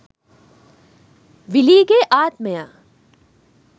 විලීගේ ආත්මය